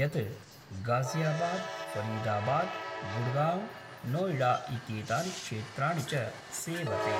यत् गाज़ियाबाद्, फ़रीदाबाद्, गुड़गाँव्, नोएडा इत्येतानि क्षेत्राणि च सेवते।